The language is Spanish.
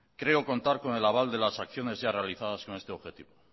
creo contar con el aval de las acciones ya realizadas con este objetivo